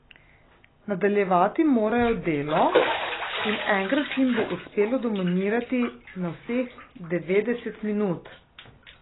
Nadaljevati morajo delo in enkrat jim bo uspelo dominirati vseh devetdeset minut.